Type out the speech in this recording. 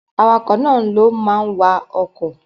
Awakọ̀ náà ló ma wa ọkọ̀